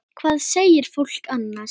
Hvað segir fólk annars?